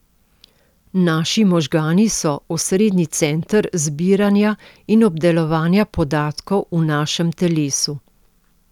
Naši možgani so osrednji center zbiranja in obdelovanja podatkov v našem telesu.